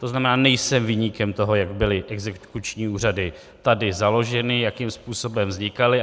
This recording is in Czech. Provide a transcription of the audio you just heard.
To znamená, nejsem viníkem toho, jak byly exekuční úřady tady založeny, jakým způsobem vznikaly.